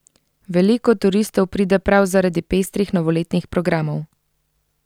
Veliko turistov pride prav zaradi pestrih novoletnih programov.